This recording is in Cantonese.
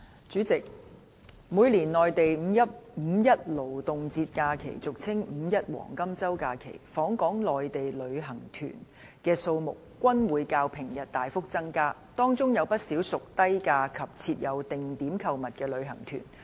主席，每年內地五一勞動節假期期間，訪港內地旅行團的數目均會較平日大幅增加，當中有不少屬低價及設有定點購物的旅行團。